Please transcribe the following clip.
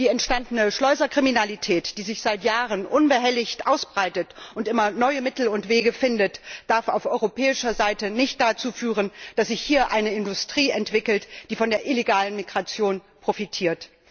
Die entstandene Schleuserkriminalität die sich seit Jahren unbehelligt ausbreitet und immer neue Mittel und Wege findet darf auf europäischer Seite nicht dazu führen, dass sich hier eine Industrie entwickelt, die von der illegalen Migration profitiert.